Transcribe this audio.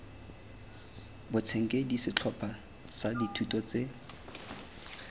boitshenkedi setlhopha sa dithuto tse